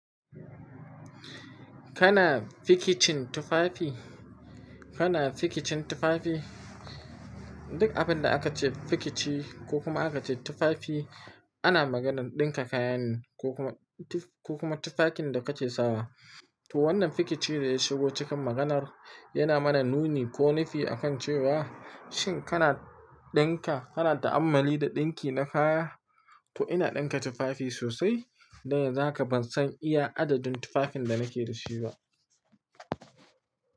Kana fikicin tufafi? Kana fikicin tufafi? Duk abin da aka ce fikici ko kuma aka ce tufafi ana maganar ɗinka kayane, ko kuma ko kuma tufakin da kake sawa. To wannan fikicin da ya shigo cikin maganar yana mana nuni ko nufi akan cewa shin kana ɗinka, kana ta'ammali da ɗinki na kaya? To ina ɗinka tufafi sosai, dan yanzu haka ban san iya adadin tufafin da nake da shi ba.